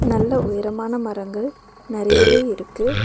நல்ல உயரமான மரங்கள் நெறையவே இருக்கு.